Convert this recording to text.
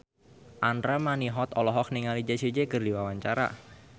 Andra Manihot olohok ningali Jessie J keur diwawancara